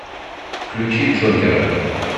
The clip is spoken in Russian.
включи джокера